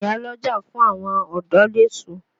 Ìyá lọ́jà fún àwọn ọ̀dọ́ l'èso.